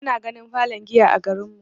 Bana ganin falon giya a garin mu.